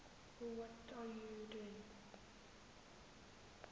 kakhulu ngaye lo